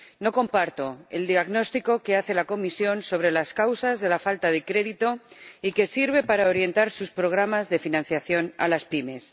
No comparto el diagnóstico que hace la Comisión sobre las causas de la falta de crédito y que sirve para orientar sus programas de financiación a las pymes.